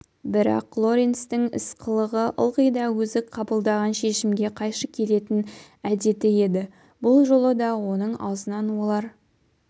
бірақ лоренстің іс-қылығы ылғи да өзі қабылдаған шешімге қайшы келетін әдеті еді бұл жолы да оның аузынан олар